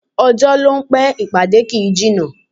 Ọjọ́ ló ń pẹ́, ìpàdé kì í jìnnà